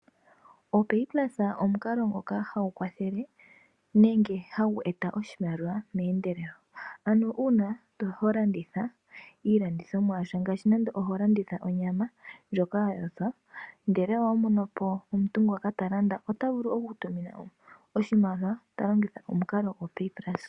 OpayPluse omukalo ngoka hagu kwathele nenge hagu eta oshimaliwa tashi endelele ano una holanditha iilandithomwa yasha ano ngaashi ando holanditha onyama ndyoka yayothwa ngele owamono po omuntu ngoka talanda otavulu okukutumina oshimaliwa talongitha omukalo gwo opayPluse.